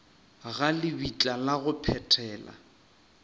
ga lebitla la go phethela